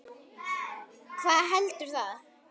Hvað heldur það?